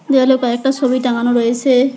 দেওয়ালে কয়েকটা ছবি টাঙানো রয়েসে‌।